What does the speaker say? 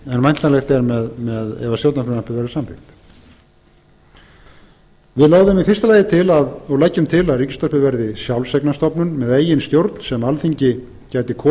en væntanlegt er ef stjórnarfrumvarpið verður samþykkt við lögðum í fyrsta lagi til og leggjum til að ríkisútvarpið verði sjálfseignarstofnun með eigin stjórn sem alþingi gæti kosið eins